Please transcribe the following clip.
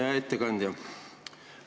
Hea ettekandja!